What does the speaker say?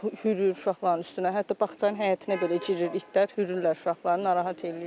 Hürür uşaqların üstünə, hətta bağçanın həyətinə belə girir itlər, hürürlər uşaqları, narahat eləyirlər.